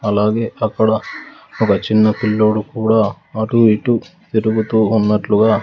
అలాగే అక్కడ ఒక చిన్న పిల్లోడు కూడా అటూ ఇటూ తిరుగుతూ ఉన్నట్లుగా--